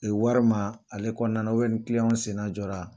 wari ma ale kɔnɔna na ni kiliyanw senna jɔ la.